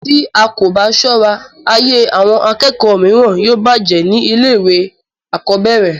tí a kò bá sọ́ra, ayé àwọn akẹ́kọ̀ọ́ mìíràn yóò bàjẹ́ ní ilé ìwé àkọ́bẹ̀rẹ̀